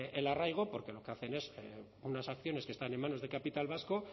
el arraigo porque lo que hacen es unas acciones que están en manos de capital vasco